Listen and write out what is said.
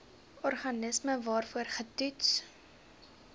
organisme waarvoor getoets